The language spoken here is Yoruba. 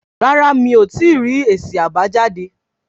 Rárá mí o tí rí èsì àbájáde